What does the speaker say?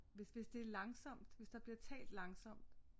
Hvis det er langsomt hvis der bliver talt langsomt